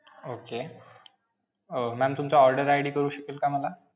Okay. Um ma'am तुमचा order ID कळू शकेल का मला?